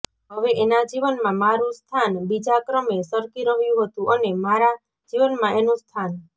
હવે એના જીવનમાં મારું સ્થાન બીજા ક્રમે સરકી રહ્યું હતું અને મારા જીવનમાં એનું સ્થાન